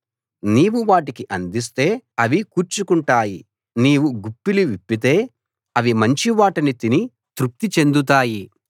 నీవు వాటికి అందిస్తే అవి కూర్చుకుంటాయి నీవు గుప్పిలి విప్పితే అవి మంచివాటిని తిని తృప్తి చెందుతాయి